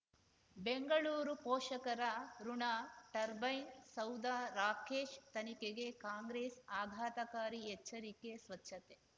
ಬೆಂಗಳೂರು ಪೋಷಕರಋಣ ಟರ್ಬೈನ್ ಸೌಧ ರಾಕೇಶ್ ತನಿಖೆಗೆ ಕಾಂಗ್ರೆಸ್ ಆಘಾತಕಾರಿ ಎಚ್ಚರಿಕೆ ಸ್ವಚ್ಛತೆ